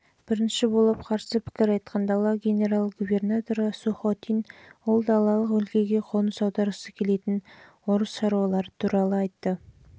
бірінші болып қарсы пікір айтқан дала генерал-губернаторы сухотин ол далалық өлкеге қоныс аударғысы келетін орыс шаруалары